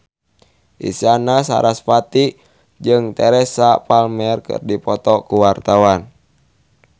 Isyana Sarasvati jeung Teresa Palmer keur dipoto ku wartawan